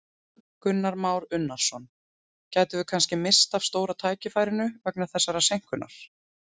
Kristján Már Unnarsson: Gætum við kannski misst af stóra tækifærinu vegna þessarar seinkunar?